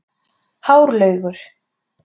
Hárlaugur